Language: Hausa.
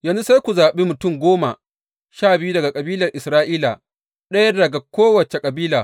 Yanzu sai ku zaɓi mutum goma sha biyu daga kabilan Isra’ila, ɗaya daga kowace kabila.